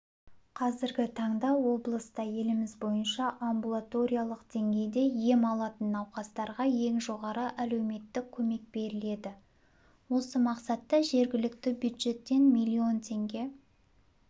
қазіргі таңда облыста еліміз бойынша амбулаториялық деңгейде ем алатын науқастарға ең жоғары әлеуметтік көмек беріледі осы мақсатта жергілікті бюджеттен млн теңге